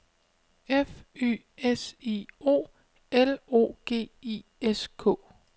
F Y S I O L O G I S K